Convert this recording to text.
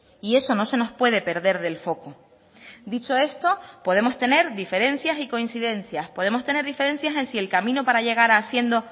y eso no se nos puede perder del foco dicho esto podemos tener diferencias y coincidencias podemos tener diferencias en si el camino para llegar haciendo